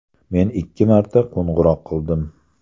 Men ikki marta qo‘ng‘iroq qildim.